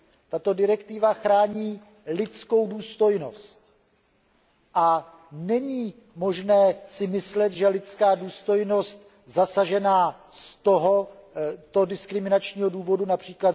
Tato direktiva chrání lidskou důstojnost. A není možné si myslet, že lidská důstojnost, zasažená z toho diskriminačního důvodu, např.